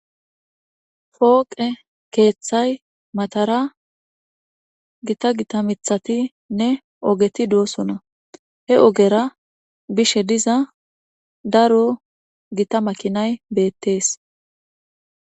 fooqe keeththay matara gita gitamithatinne ogeti doosona he ogera bishe diza daro gita makinay beettees